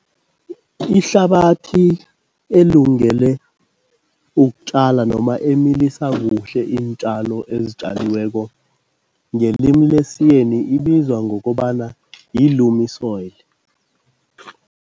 Ihlabathi elungele ukutjala noma emilisa kuhle iintjalo ezitjaliweko ngelimi lesiYeni ibizwa ngokobana yi-loamy soil.